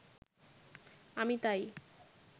আমি তাই